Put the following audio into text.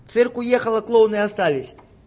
цирк уехал а клоуны остались